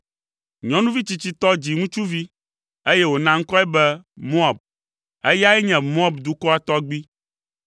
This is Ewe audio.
Nyɔnuvi tsitsitɔ dzi ŋutsuvi, eye wòna ŋkɔe be Moab; eyae nye Moab dukɔa tɔgbui.